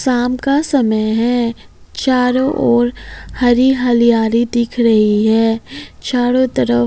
शाम का समय है चारों ओर हरी हरियाली दिख रही है चारों तरफ।